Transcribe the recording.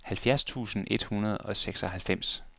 halvfjerds tusind et hundrede og seksoghalvfems